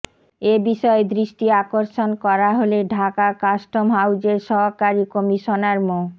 এ বিষয়ে দৃষ্টি আকর্ষণ করা হলে ঢাকা কাস্টম হাউজের সহকারী কমিশনার মো